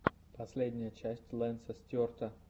последняя часть лэнса стюарта